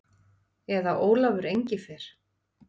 Eða Ólafur Engifer.